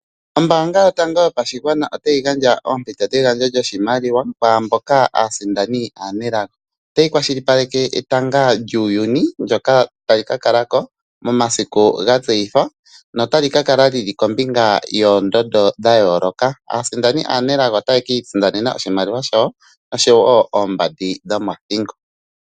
Ombanga yotango yopashigwana otayi gandja ompito dhegandjo lyoshimaliwa kwamboka aasindani anelago. Otayi kwashili paleke etanga lyuuyuni ndjoka tali ka kalako mo masiku gatseyithwa notali ka kala lili kombinga yoondondo dha yoloka, aasindani anegalo otaye ki isindanena oshimaliwa shawo oshowo ombandi dhomo thingo.